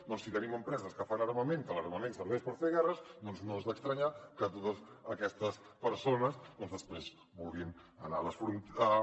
doncs si tenim empreses que fan armament que l’armament serveix per fer guerres doncs no és d’estranyar que totes aquestes persones després vulguin anar a les fronteres